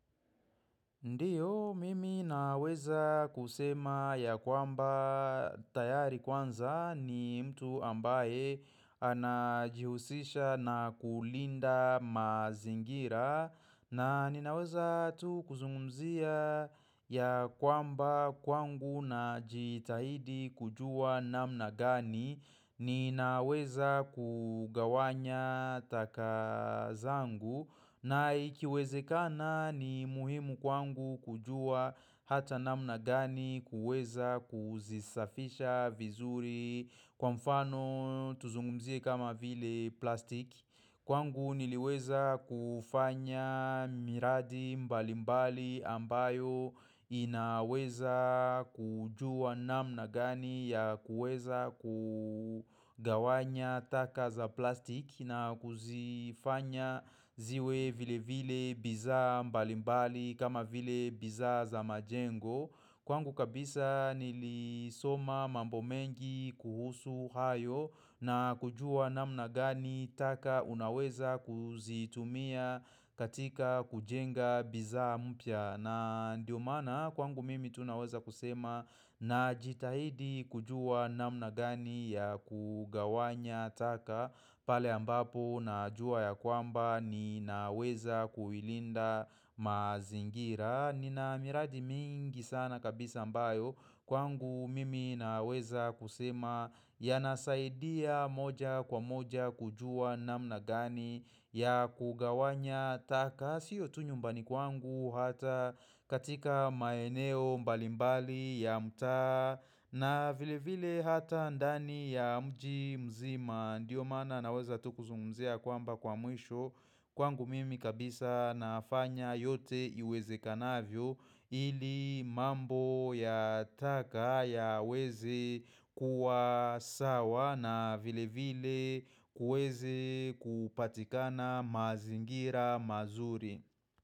Ndiyo, mimi naweza kusema ya kwamba tayari kwanza ni mtu ambaye anajihusisha na kulinda mazingira na ninaweza tu kuzungumzia ya kwamba kwangu na jitahidi kujua namna gani Ninaweza kugawanya takazangu na ikiweze kana ni muhimu kwangu kujua hata namna gani kuweza kuzisafisha vizuri kwa mfano tuzungumzie kama vile plastiki. Kwangu niliweza kufanya miradi mbalimbali ambayo inaweza kujua namna gani ya kueza kugawanya taka za plastik na kuzifanya ziwe vile vile bizaa mbalimbali kama vile bizaa za majengo. Kwangu kabisa nilisoma mambo mengi kuhusu hayo na kujua namna gani taka unaweza kuzitumia katika kujenga bizaa mpya. Na ndio maana kwangu mimi tunaweza kusema na jitahidi kujua namna gani ya kugawanya taka pale ambapo na jua ya kwamba ni naweza kuilinda mazingira. Nina miradi mingi sana kabisa ambayo kwangu mimi naweza kusema ya nasaidia moja kwa moja kujua namna gani ya kugawanya takasio tunyumbani kwangu hata katika maeneo mbalimbali ya mtaa na vile vile hata ndani ya mji mzima Ndiyo maana naweza tu kuzumzea kwamba kwa mwisho Kwangu mimi kabisa nafanya yote iweze kanavyo ili mambo ya taka ya weze kuwa sawa na vile vile kuweze kupatikana mazingira mazuri.